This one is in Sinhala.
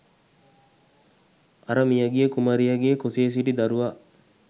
අර මියගිය කුමරියගේ කුසේ සිටි දරුවා